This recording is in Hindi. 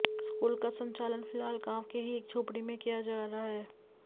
स्कूल का संचालन फिलहाल गांव के ही एक झोपड़ी में किया जा रहा है